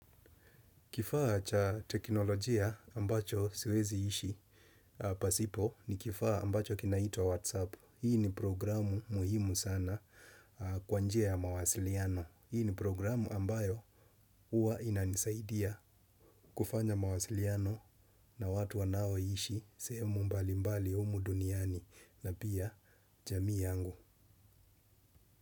Kifaa cha teknolojia ambacho siwezi ishi, pasipo ni kifaa ambacho kinaitwa WhatsApp. Hii ni programu muhimu sana kwa njia ya mawasiliano. Hii ni programu ambayo uwa inanisaidia kufanya mawasiliano na watu wanao ishi sehemu mbali mbali humu duniani na pia jamii yangu.